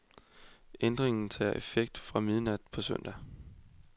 Ændringen tager effekt fra midnat på søndag.